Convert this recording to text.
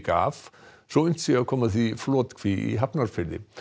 af svo unnt sé að koma því í flotkví í Hafnarfirði